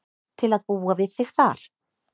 Til að búa við þig þar.